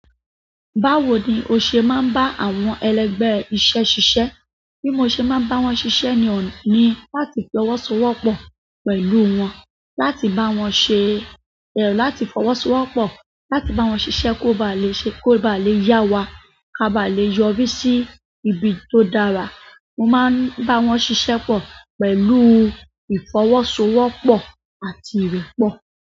Báwo ni o ṣe máa ń bá àwọn ẹlẹgbẹ́ iṣẹ́ ṣiṣẹ́? Bí mo ṣe máa ń bá wọn ṣiṣẹ́ ni on-- ni láti fọwọ́sowọ́pọ̀ pẹ̀lú wọn, láti bá wọn ṣe, láti fọwọ́sowọ́pọ̀, láti bá wọn ṣiṣẹ́ kó ba lè ṣe, kó bá lè yá wa, ká bá lè yọrí sí ibi tó dára. Mo máa ń bá wọn ṣiṣẹ́ pọ̀ pẹ̀lú ìfọwọ́sowọ́pọ̀ àti ìrẹ́pọ̀.